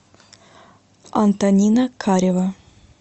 антонина карева